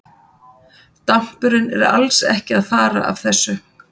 Dampurinn er alls ekki að fara af þessu.